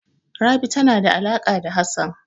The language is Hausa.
Rabi tana da alaƙa da Hassan.